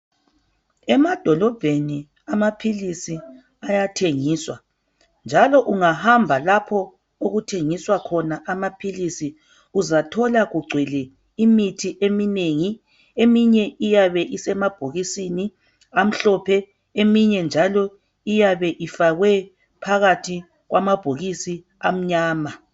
Emadolobheni amaphilisi ayathengiswa njalo ungahamba lapho okuthengiswa khona amaphilisi uzathola kugcwele imithi eminengi, eminye iyabe isemabhokisini amhlophe eminye iyabe ifakwe phakathi kwamabhokisi amnyama.